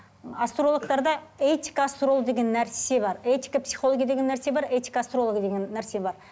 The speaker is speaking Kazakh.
ы астрологтарда этика астролога деген нәрсе бар этика психология деген нәрсе бар этика астролога деген нәрсе бар